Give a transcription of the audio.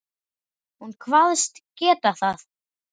Hún kvaðst geta það.